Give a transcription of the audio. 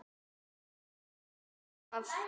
Ég man ekki annað.